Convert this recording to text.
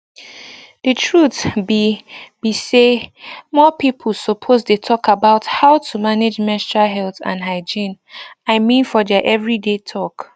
the truth be be say more people suppose dey talk about how to manage menstrual health and hygiene i mean for their everyday talk